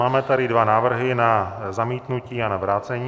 Máme tady dva návrhy - na zamítnutí a na vrácení.